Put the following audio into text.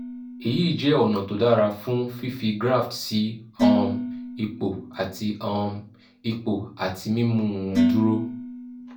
èyí jẹ́ ọ̀nà tó dára fún fífi graft sí um ipò àti um ipò àti mímú un dúró